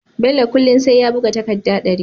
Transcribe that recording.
Bello kullun sai ya buga takadda dari